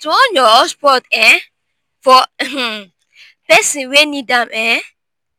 to on your hotspot um for um persin wey need am um